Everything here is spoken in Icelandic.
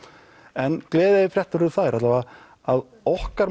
en gleðifréttir eru þær allavega að okkar